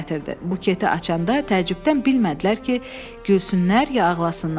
Buketi açanda təəccübdən bilmədilər ki, gülsünlər ya ağlasınlar.